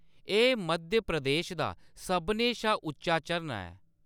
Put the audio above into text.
एह्‌‌ मध्य प्रदेश दा सभनें शा उच्चा झरना ऐ।